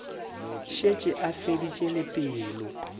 šetše a feditše le pelo